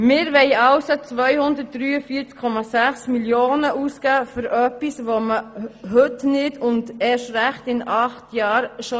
Wir wollen also 243,6 Mio. Franken ausgeben für etwas, das man heute nicht und erst recht nicht in acht Jahren braucht.